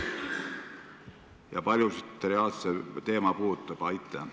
Kui paljusid reaalselt see teema puudutab?